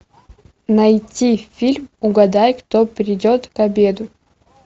найти фильм угадай кто придет к обеду